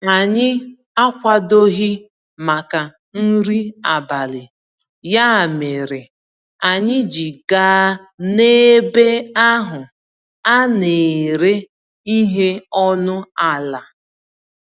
Anyị akwadoghị màkà nri abalị, ya mèrè anyị ji gaa n'ebe ahụ a n'éré ihe ọnụ àlà